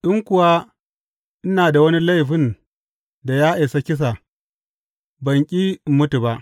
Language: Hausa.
In kuwa ina da wani laifin da ya isa kisa, ban ƙi in mutu ba.